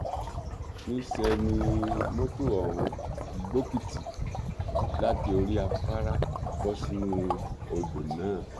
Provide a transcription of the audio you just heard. níṣẹ ni mọtò ọhún gbókìtì láti orí afárá bọ sínú odò náà